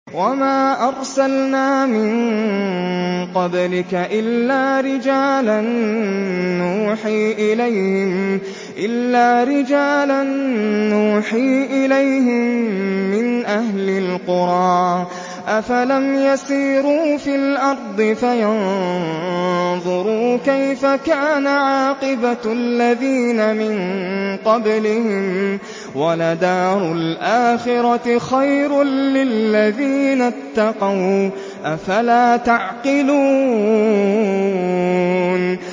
وَمَا أَرْسَلْنَا مِن قَبْلِكَ إِلَّا رِجَالًا نُّوحِي إِلَيْهِم مِّنْ أَهْلِ الْقُرَىٰ ۗ أَفَلَمْ يَسِيرُوا فِي الْأَرْضِ فَيَنظُرُوا كَيْفَ كَانَ عَاقِبَةُ الَّذِينَ مِن قَبْلِهِمْ ۗ وَلَدَارُ الْآخِرَةِ خَيْرٌ لِّلَّذِينَ اتَّقَوْا ۗ أَفَلَا تَعْقِلُونَ